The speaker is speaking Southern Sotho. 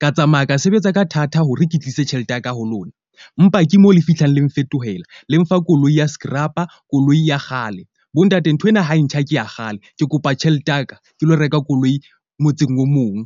ka tsamaya ka sebetsa ka thata hore ke tlise tjhelete ya ka ho lona. Empa ke mo le fihlang le nfetohela le mfa koloi ya skrapa. Koloi ya kgale, bontate nthwena ha e ntjha, ke ya kgale. Ke kopa tjhelete ya ka ke lo reka koloi motseng o mong.